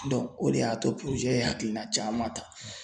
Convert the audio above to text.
o de y'a to ye hakilina caman ta.